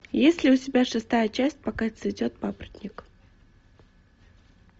есть ли у тебя шестая часть пока цветет папоротник